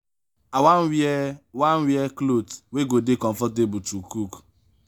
i wan wear wan wear cloth wey go dey comfortable to cook.